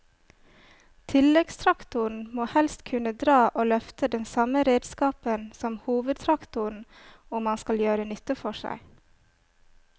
Tilleggstraktoren må helst kunne dra og løfte den samme redskapen som hovedtraktoren om han skal gjøre nytte for seg.